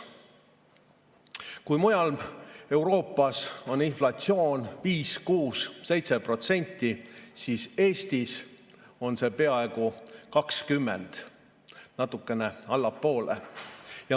Kui mujal Euroopas on inflatsioon 5%, 6% või 7%, siis Eestis on see peaaegu 20%, natukene allapoole.